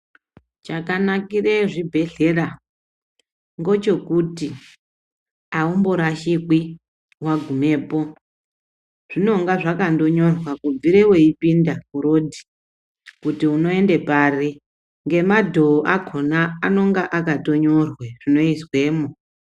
Chakanakire zvibhedhlera ngochokuti awumborashikwi wagimepo . Zvinonga zvakangonyorwa kubvire weyipinda kurodhi kuti unoende pari ngomadhoo akhona anonga akanyorwa zvinoizwemwo.